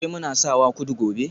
Ashe muna sawa kudu gobe